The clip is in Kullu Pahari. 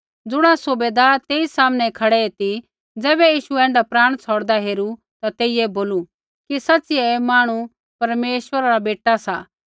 ज़ुण सूबैदार तेई सामनै खड़ा ती ज़ैबै यीशु ऐण्ढा प्राण छ़ौड़दा हेरू ता तेइयै बोलू कि सच़िऐ ऐ मांहणु परमेश्वरा रा बेटा सा